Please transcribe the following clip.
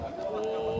Ooo!